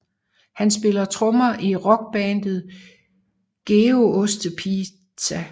Han spiller trommer i rockbandet Gedeostepizza